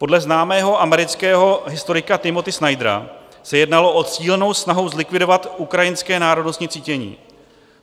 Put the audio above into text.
Podle známého amerického historika Timothyho Snydera se jednalo o cílenou snahu zlikvidovat ukrajinské národnostní cítění.